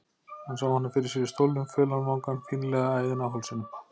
Hann sá hana fyrir sér í stólnum, fölan vangann, fínlega æðina á hálsinum.